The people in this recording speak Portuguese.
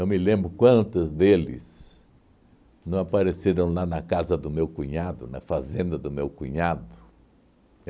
me lembro quantos deles não apareceram lá na casa do meu cunhado, na fazenda do meu cunhado.